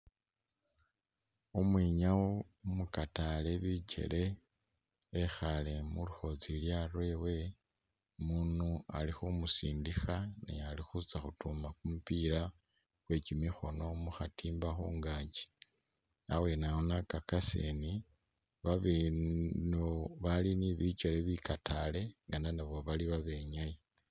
Umwinyawo umukatale bikyele wekhale mulukhotsilya lwewe, umundu alikhumusindikha alikhutsa khutuma kumupila kwekimikhono mukhatimbs khungaakyi abwenawo nakakasa ndi babali ni bikyele bikatale ngana nabo bali babenyayi